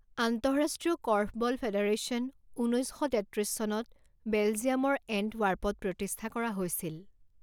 আন্তঃৰাষ্ট্ৰীয় korfball federation ঊনৈৎ শ তেত্ৰিছ চনত বেলজিয়ামৰ এণ্টৱাৰ্পত প্ৰতিষ্ঠা কৰা হৈছিল।